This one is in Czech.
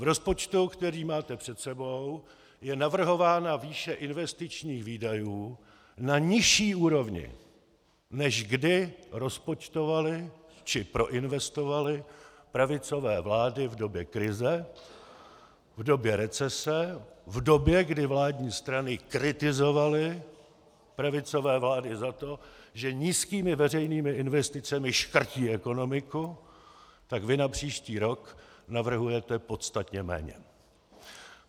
V rozpočtu, který máte před sebou, je navrhována výše investičních výdajů na nižší úrovni, než kdy rozpočtovaly či proinvestovaly pravicové vlády v době krize, v době recese, v době, kdy vládní strany kritizovaly pravicové vlády za to, že nízkými veřejnými investicemi škrtí ekonomiku, tak vy na příští rok navrhujete podstatně méně.